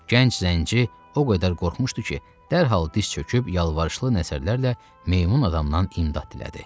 Gənc zənci o qədər qorxmuşdu ki, dərhal diz çöküb yalvarışlı nəzərlərlə meymun adamdan imdad dilədi.